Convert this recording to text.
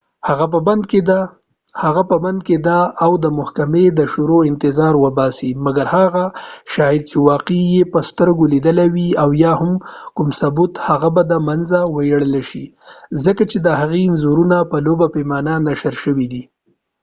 هغه په بند کی ده او د محکمی د شروع انتظار اوباسی مګر هر هغه شاهد چی واقعه یې په سترګو لیدلی وي او یا هم کوم ثبوت هغه به د منځه ویوړل شی ځکه چی دهغې انځورونه په لوبه پیمانه نشر شوی دي